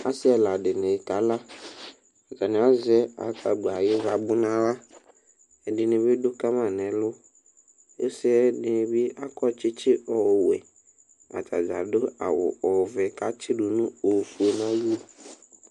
Ɔsi ɛla dini kala ɛdini azɛ asgbla ayʋ ivabʋ nʋ aɣla ɛdini bi dʋ kama nʋ ɛlʋ ɔsi yɛbi akɔ tsutsi ɔwɛ atadza adʋ awʋ ɔvɛ kʋ atsidʋ ofue nʋ ayili